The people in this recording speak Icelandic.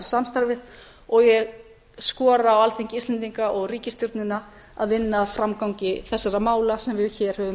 samstarfið og ég skora á alþingi íslendinga og ríkisstjórnina að vinna að framgangi þessara mála sem við hér höfum